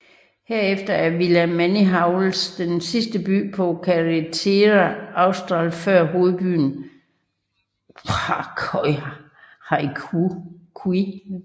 Herefter er Villa Manihuales den sidste by på Carretera Austral før hovedbyen Coyhaique